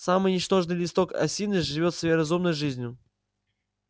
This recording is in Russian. самый ничтожный листок осины живёт своей разумной жизнью